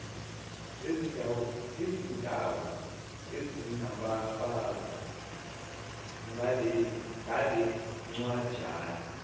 ezindawo ezinababazi ngalencwajana